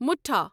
مُٹھا